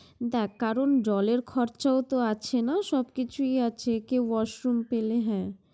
দেখ কারণ জলের খরচাও তো আছে না, সবই কিছুই আছে কেউ washroom পেলে হ্যাঁ